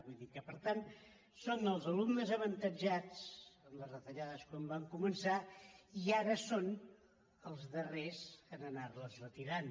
vull dir que per tant són els alumnes avantatjats en les retallades quan van començar i ara són els darrers a anar·les retirant